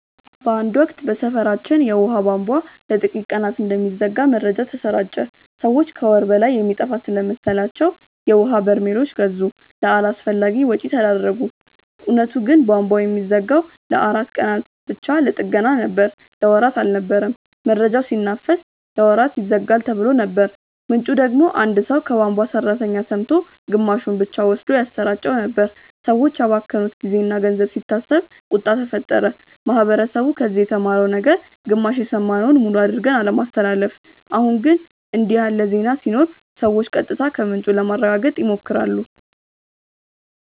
በአንድ ወቅት በሰፈራችን የውሃ ቧንቧ ለጥቂት ቀናት እንደሚዘጋ መረጃ ተሰራጨ። ሰዎች ከወር በላይ የሚጠፋ ስለመሰላቸው የውሀ በርሜሎች ገዙ፣ ለአላስፈላጊ ወጪ ተዳረጉ። እውነቱ ግን ቧንቧው የሚዘጋው ለአራት ቀናት ብቻ ለጥገና ነበር። ለወራት አልነበረም። መረጃው ሲናፈስ "ለወራት ይዘጋል"ተብሎ ነበር፣ ምንጩ ደግሞ አንድ ሰው ከቧንቧ ሠራተኛ ሰምቶ ግማሹን ብቻ ወስዶ ያሰራጨው ነበር። ሰዎች ያባከኑት ጊዜና ገንዘብ ሲታሰብ ቁጣ ተፈጠረ። ማህበረሰቡ ከዚህ የተማረው ነገር ግማሽ የሰማነውን ሙሉ አድርገን አለማስተላለፍ። አሁን ግን እንዲህ ያለ ዜና ሲኖር ሰዎች ቀጥታ ከምንጩ ለማረጋገጥ ይሞክራሉ